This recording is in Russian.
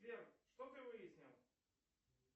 сбер что ты выяснил